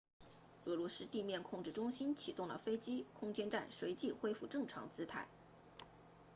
俄罗斯地面控制中心启动了飞机空间站随即恢复正常姿态